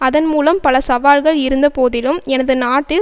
அதன் மூலம் பல சவால்கள் இருந்த போதிலும் எனது நாட்டில்